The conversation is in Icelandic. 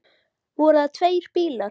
Voru það tveir bílar.